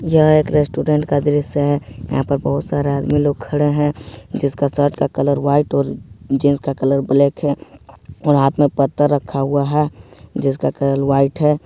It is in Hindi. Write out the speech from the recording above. यह एक रेस्टोरेंट का दृश्य यहां पर बहुत सारा आदमी लोग खड़े हैं जिसका शर्ट का कलर व्हाइट और जीन्स का कलर ब्लैक है और हाथ में पत्थर रखा हुआ है जिसका कलर व्हाइट है।